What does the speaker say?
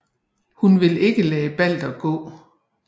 Hun vil ikke lade Balder gå